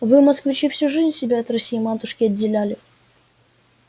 вы москвичи всю жизнь себя от россии-матушки отделяли